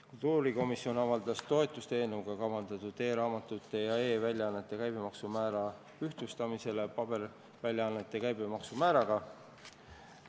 Kultuurikomisjon avaldas toetust eelnõuga kavandatud e-raamatute ja e-väljaannete käibemaksu määra ühtlustamisele paberväljaannete käibemaksu määraga.